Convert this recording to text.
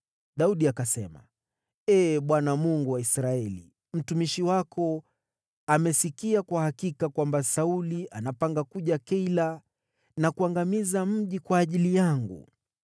Daudi akasema, “Ee Bwana , Mungu wa Israeli, mtumishi wako amesikia kwa hakika kwamba Sauli anapanga kuja Keila na kuangamiza mji kwa ajili yangu.